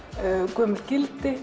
gömul gildi